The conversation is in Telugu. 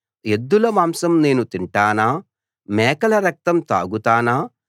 ఎద్దుల మాంసం నేను తింటానా మేకల రక్తం తాగుతానా